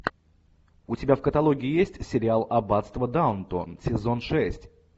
у тебя в каталоге есть сериал аббатство даунтон сезон шесть